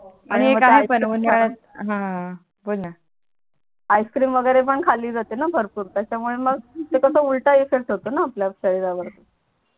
Ice cream वगैरे पण खाली जातेणा भरपूर त्याच्यामुळे मग ते कस उलटा इफेक्ट होतो णा आपल्या शरीरा वर